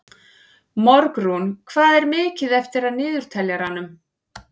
Borgrún, hvað er mikið eftir af niðurteljaranum?